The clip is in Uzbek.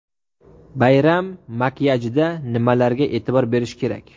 Bayram makiyajida nimalarga e’tibor berish kerak?.